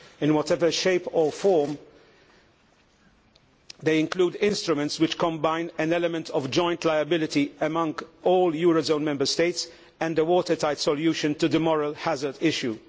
In whatever shape or form, they include instruments which combine an element of joint liability among all euro zone Member States and a watertight solution to the moral hazard issue.